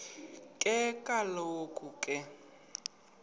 ke kaloku ke